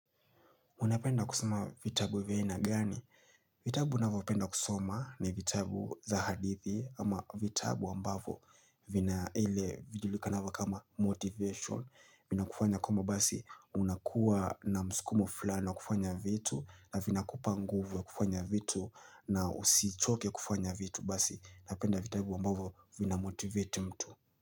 Unapenda kusoma vitabu vya aina gani? Vitabu ninavopenda kusoma ni vitabu za hadithi ama vitabu ambavo vina ile vijulikanavo kama motivation. Vinakufanya koma basi unakuwa na mskumo fulani wa kufanya vitu na vinakupa nguvu ya kufanya vitu na usichoke kufanya vitu basi. Napenda vitabu ambavo vina motivate mtu.